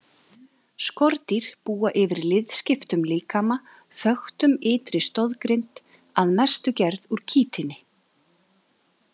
Skordýr búa yfir liðskiptum líkama þöktum ytri stoðgrind, að mestu gerð úr kítíni.